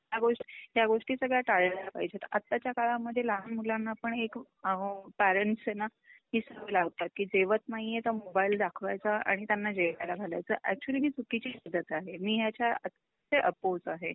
ह्या गोष्टी, ह्या गोष्टी सगळ्या टाळल्या पाहिजेत. आताच्या काळामध्ये लहान मुलांना पण एक पेरेंट्स ए ना हि सवय लावता कि जेवत नाहीये तर मोबाइल दाखवायचा आणि त्यांना जेवायला घालायचं अक्चूअली पद्धत आहे. मी याच्या अपोस आहे.